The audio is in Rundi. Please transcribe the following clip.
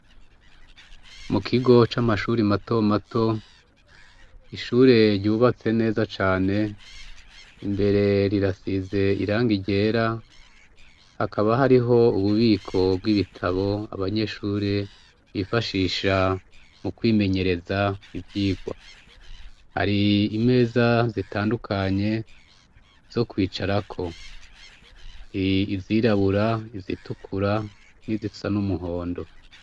Mu kigo c'amashuri mato mato ishure ryubatse neza cane imbere rirasize iranga iryera hakaba hariho ububiko bw'ibitabo abanyeshure bifashisha mu kwimenyereza ivyirwa hari yi imeza zitandukanye zo kwicarako hari izirabura izitukura n'izisa n'umuhondo.